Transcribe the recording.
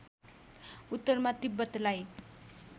उत्तरमा तिब्बतलाई